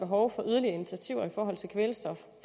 behov for yderligere initiativer i forhold til kvælstof